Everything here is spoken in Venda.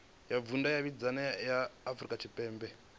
ya vhudavhidzano ya afurika tshipembe